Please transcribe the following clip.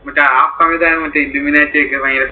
മറ്റേ ആ സമയത്തായിരുന്നു മറ്റേ illuminati ഒക്കെ ഭയങ്കര